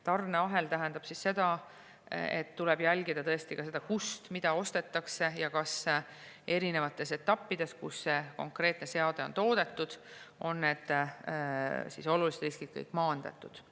Tarneahel tähendab seda, et tuleb jälgida, kust mida ostetakse ja kas eri etappides, kus konkreetne seade on toodetud, on kõik olulised riskid maandatud.